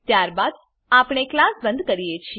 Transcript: ત્યારબાદ આપણે ક્લાસ બંધ કરીએ છીએ